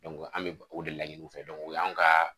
an bɛ o de laɲin'u fɛ o y'an kaa